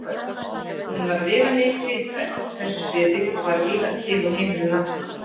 Hún var viðamikið ritverk á þessu sviði og var víða til á heimilum landsmanna.